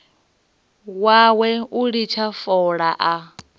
wawe u litsha fola a